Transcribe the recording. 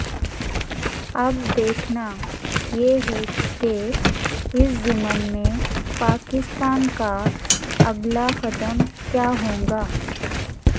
اب دیکھنا یہ ہے کہ اس ضمن میں پاکستان کااگلا قدم کیاہوگا